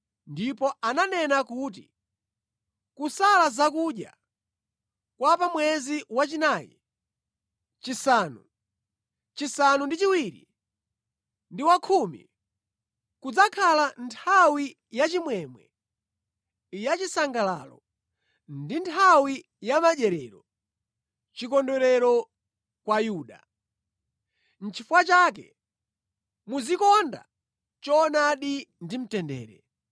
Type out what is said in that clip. Ndipo ananena kuti, “Kusala zakudya kwa pa mwezi wachinayi, chisanu, chisanu ndi chiwiri ndi wakhumi, kudzakhala nthawi yachimwemwe, ya chisangalalo ndi nthawi ya madyerero chikondwerero kwa Yuda. Nʼchifukwa chake muzikonda choonadi ndi mtendere.”